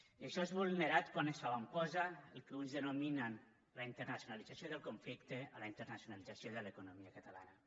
i això és vulnerat quan s’avantposa el que uns denominen la internacionalització del conflicte a la internacionalització de l’economia catalana